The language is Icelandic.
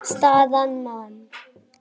Staðan: Man.